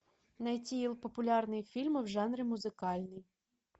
найти популярные фильмы в жанре музыкальный